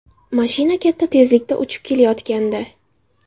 Mashina katta tezlikda uchib kelayotgandi.